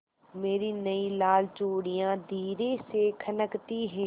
मेरी नयी लाल चूड़ियाँ धीरे से खनकती हैं